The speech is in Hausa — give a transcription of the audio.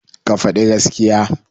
Ka faɗi gaskiya.